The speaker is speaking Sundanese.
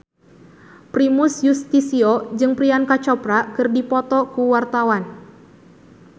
Primus Yustisio jeung Priyanka Chopra keur dipoto ku wartawan